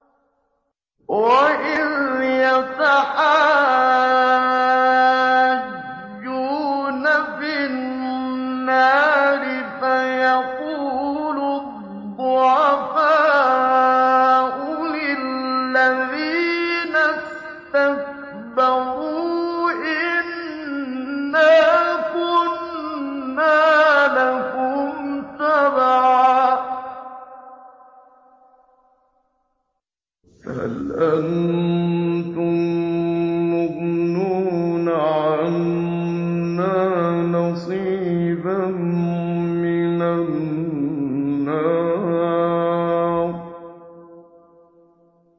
وَإِذْ يَتَحَاجُّونَ فِي النَّارِ فَيَقُولُ الضُّعَفَاءُ لِلَّذِينَ اسْتَكْبَرُوا إِنَّا كُنَّا لَكُمْ تَبَعًا فَهَلْ أَنتُم مُّغْنُونَ عَنَّا نَصِيبًا مِّنَ النَّارِ